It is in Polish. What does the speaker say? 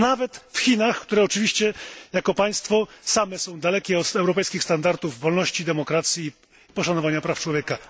Nawet w Chinach, które oczywiście jako państwo same są dalekie od europejskich standardów wolności, demokracji i poszanowania praw człowieka.